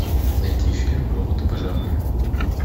найти фильм роботы пожарные